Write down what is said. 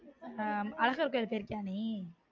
ஆஹ் அழகர் கோவிலுக்கு போயிருக்கியா நீ